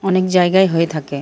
অনেক জায়গায় হয়ে থাকে ।